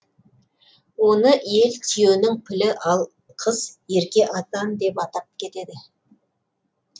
оны ел түйенің пілі ал қыз ерке атан деп атап кетеді